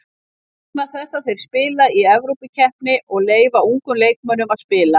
Vegna þess að þeir spila í Evrópukeppni og leyfa ungum leikmönnum að spila.